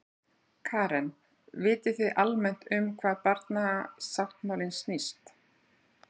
Karen: Vitið þið almennt um hvað barnasáttmálinn snýst?